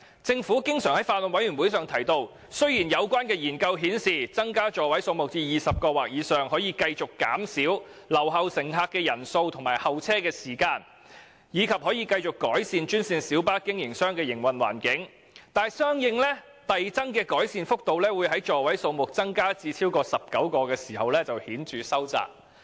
政府經常向法案委員會表示："雖然有關研究顯示增加座位數目至20個或以上可繼續減少留後乘客的人數和候車時間，以及可繼續改善專線小巴營辦商的營運環境，但相應遞增的改善幅度會在座位數目增加至超過19個時顯著收窄。